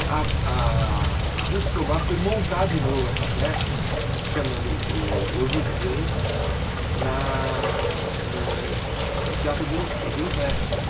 E a a a Ruth Escobar foi montar de novo essa peça, chamando o Os Lusíadas, na no no no Teatro Júlios Júlio Prestes.